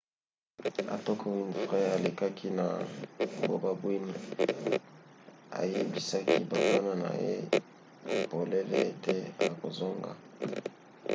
atako winfrey alelaki na bokabwani ayebisaki bafana na ye polele ete akozonga